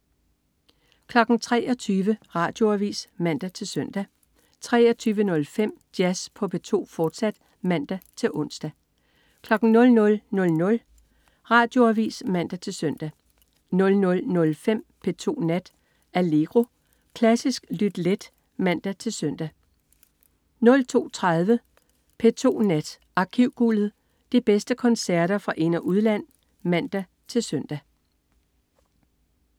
23.00 Radioavis (man-søn) 23.05 Jazz på P2, fortsat (man-ons) 00.00 Radioavis (man-søn) 00.05 P2 Nat. Allegro. Klassisk lyt let (man-søn) 02.30 P2 Nat. Arkivguldet. De bedste koncerter fra ind- og udland (man-søn)